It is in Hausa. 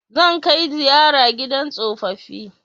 Zan kai ziyara gidan tsofaffi